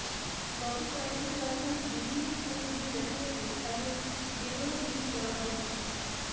গত কয়েকদিন রাজধানীর বিভিন্ন স্থানে ঘুরে দেখা গেছে এমন বেদনাবিধুর নানা দৃশ্য